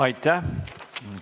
Aitäh!